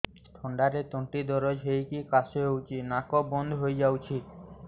ଥଣ୍ଡାରେ ତଣ୍ଟି ଦରଜ ହେଇକି କାଶ ହଉଚି ନାକ ବନ୍ଦ ହୋଇଯାଉଛି